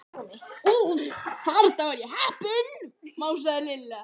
Úff, þarna var ég heppin másaði Lilla.